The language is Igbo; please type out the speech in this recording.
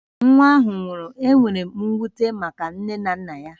Nwa ahụ nwụrụ, enwere m mwute maka nne na nna ya